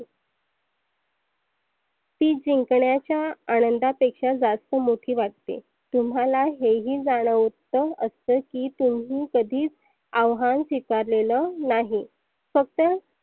ती जिंकण्याच्या आनंदा पेक्षा जास्त मोठी वाटते. तुम्हाला हे ही जानवत असत की तुम्ही कधीच अव्हान स्विकारलेलं नाही. फक्त